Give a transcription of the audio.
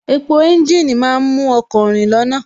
Epo ẹ́ńjìnì má ń mú ọkọ̀ rìn lọ́nà